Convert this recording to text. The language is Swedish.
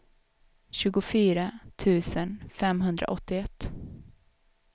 tjugofyra tusen femhundraåttioett